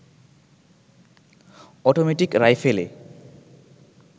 automatic রাইফেলে